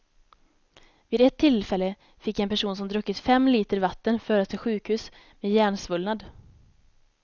Vid ett tillfälle fick en person som druckit fem liter vatten föras till sjukhus med hjärnsvullnad.